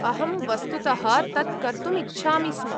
अहं वस्तुतः तत् कर्तुम् इच्छामि स्म।